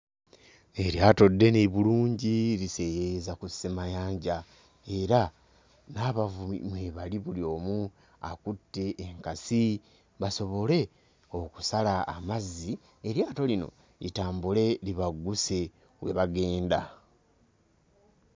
Eryato ddene bulungi liseeyeeyeza ku ssemayanja era n'abavubi mwe bali buli omu akutte enkasi basobole okusala amazzi eryato lino litambule libagguse we bagenda.